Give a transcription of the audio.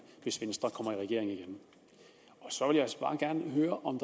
hvis venstre kommer i regering igen så jeg vil bare gerne høre om